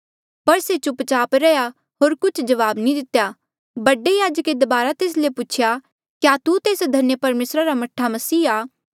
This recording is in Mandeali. पर से चुप चाप रैहया होर कुछ जवाब नी दितेया बडे याजके दबारा तेस ले पूछेया क्या तू तेस धन्य परमेसरा रा मह्ठा मसीह आ